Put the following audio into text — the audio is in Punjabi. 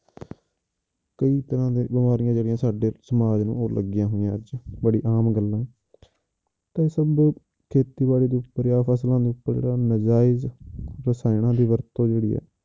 ਕਈ ਤਰ੍ਹਾਂ ਦੇ ਬਿਮਾਰੀਆਂ ਜਿਹੜੀਆਂ ਸਾਡੇ ਸਮਾਜ ਨੂੰ ਉਹ ਲੱਗੀਆਂ ਹੋਈਆਂ ਅੱਜ, ਬੜੀ ਆਮ ਗੱਲ ਆ ਤੇ ਇਹ ਸਭ ਖੇਤੀਬਾੜੀ ਦੇ ਉੱਪਰ ਫਸਲਾਂ ਦੇ ਉੱਪਰ ਨਜਾਇਜ਼ ਰਸਾਇਣਾਂ ਦੀ ਵਰਤੋਂ ਜਿਹੜੀ ਆ